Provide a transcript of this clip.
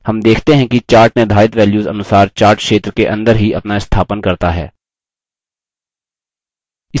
हम देखते हैं कि chart निर्धारित values अनुसार chart क्षेत्र के अंदर ही अपना स्थापन करता है